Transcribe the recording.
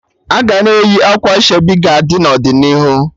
Aga na-eyi akwa ashebi ga-adi n'ọdịnihu